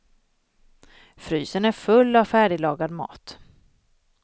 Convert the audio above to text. Frysen är full av färdiglagad mat.